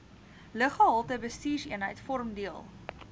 luggehaltebestuurseenheid vorm deel